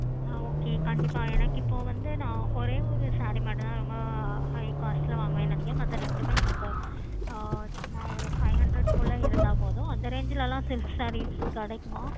ஹம் ok எனக்கு இப்போ வந்து ஒரேயொரு saree மட்டும் தான் high cost லா வாங்குவானு நினைக்குறான் மத்த ரெண்டும் எனக்கு சும்மா five hundreds குள்ள இருந்த போதும் அந்த range லாம் silk sarees கிடைக்குமா